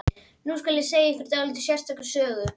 Nú skal segja ykkur dálítið sérstaka sögu.